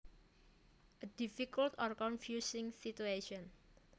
A difficult or confusing situation